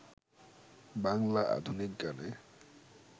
বাংলা আধুনিক গানে